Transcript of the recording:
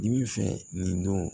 Dibi fɛ nin don